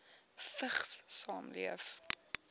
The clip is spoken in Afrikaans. vigs saamleef